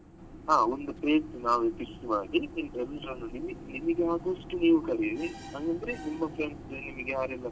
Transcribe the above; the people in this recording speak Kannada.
ಹಾ ಒಂದು page ನಾವೇ list ಮಾಡಿ ನಿಮ್ಗೆ ಆದಷ್ಟು ನೀವ್ ಕರೀರಿ ಅಂದ್ರೆ ನಿಮ್ಗೆ friends ಯಾರೆಲ್ಲ.